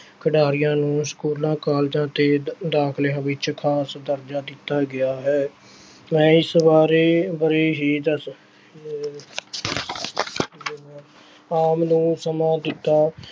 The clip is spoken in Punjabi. ਖਿਡਾਰੀਆਂ ਨੂੰ ਸਕੂਲਾਂ, ਕਾਲਜਾਂ ਤੇ ਦਾਖਲਾਂ ਵਿੱਚ ਖ਼ਾਸ ਦਰਜ਼ਾ ਦਿੱਤਾ ਗਿਆ ਹੈ, ਇਸ ਬਾਰੇ ਨੂੰ ਸਮਾਂ ਦਿੱਤਾ